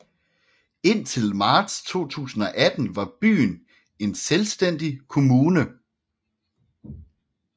Indtil marts 2018 var byen en selvstændig kommune